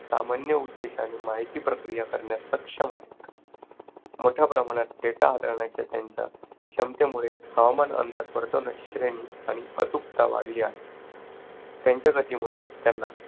सामान्य उद्देशाने माहिती प्रक्रिया करण्यास सक्षम आहेत. मोठ्या प्रमाणात data हाताळण्याच्या त्यांच्या क्षमतेमुळे हवामान अंदाज वर्तवण्याची श्रेणी आणि अचूकता वाढली आहे. त्यांच्या गतीमुळे त्यांना